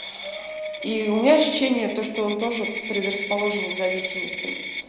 и у меня ощущение то что он тоже предрасположен к зависимостям